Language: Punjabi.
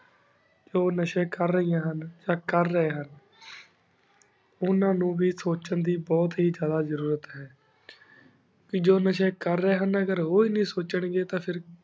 ਜੋ ਨਾਸ਼ੀ ਕਰ ਰੇਹਾਨ ਹੁਣ ਯਾ ਕਰ ਰਹੀ ਹੁਣ ਉਨਾ ਨੂ ਵੀ ਸੁਚਨ ਦੀ ਬੁਹਤ ਹੀ ਜਾਦਾ ਜ਼ਰੁਰਤ ਹੈਂ ਜੋ ਨਾਸ਼੍ਯਨ ਕਰ ਰਹੀ ਹੁਣ ਉਹੀ ਨਾ ਸੁਚਨ ਘੀ